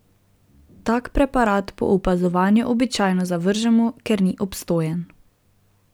Tak preparat po opazovanju običajno zavržemo, ker ni obstojen.